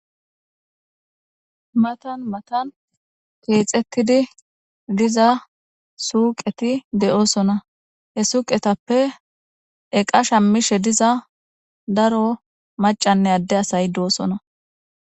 Matan matan keexetidi diza suuqeti de'osonna. He suuqetappe eqa shaamishe diza daro maccane adde asayi de'osonna.